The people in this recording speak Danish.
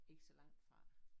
Ikke så langt fra